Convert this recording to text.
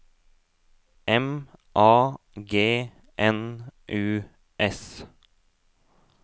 M A G N U S